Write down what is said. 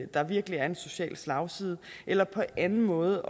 der virkelig er en social slagside eller på anden måde